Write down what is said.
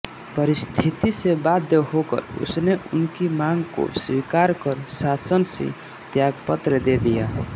परिस्थिति से बाध्य होकर उसने उनकी मांग को स्वीकार कर शासन से त्यागपत्र दे दिया